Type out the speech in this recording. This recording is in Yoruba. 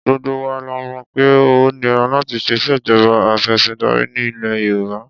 Gbogbo wa la mọ̀ pé ó nira láti lo ìṣèjọba afẹ̀sìndarí ní ilẹ̀ Yorùbá.